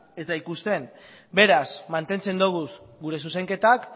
ez da ikusten beraz mantentzen doguz gure zuzenketak